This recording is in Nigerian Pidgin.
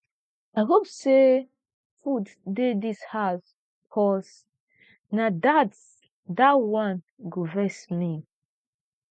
i hope say food dey this house cause na dat dat one go vex me